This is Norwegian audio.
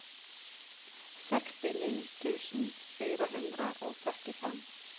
sekstini tusen fire hundre og førtifem